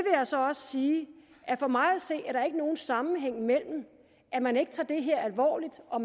jeg så også sige at for mig at se er der ikke nogen sammenhæng mellem at man ikke tager det her alvorligt og